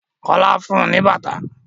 Kola fún un ní bàtà.